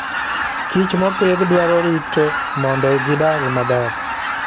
Kich mopidh dwaro rito mondo gidag maber.